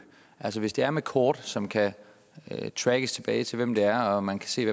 altså hvis det er med kort som kan trackes tilbage til hvem det er og man kan se